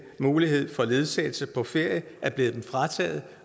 mulighed for ledsagelse på ferie er blevet dem frataget